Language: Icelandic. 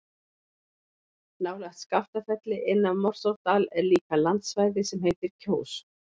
Nálægt Skaftafelli, inn af Morsárdal er líka landsvæði sem heitir Kjós.